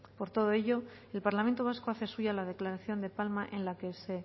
por todo ello el parlamento vasco hace suya la declaración de palma en la que se